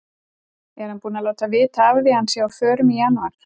Er hann búinn að láta vita af því að hann sé á förum í janúar?